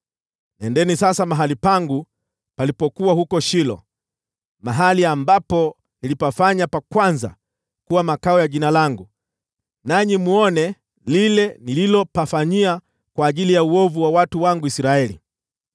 “ ‘Nendeni sasa mahali pangu palipokuwa huko Shilo, mahali ambapo nilipafanya pa kwanza kuwa makao ya Jina langu, nanyi mwone lile nililopafanyia kwa ajili ya uovu wa watu wangu Israeli.